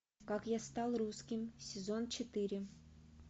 как я стал русским сезон четыре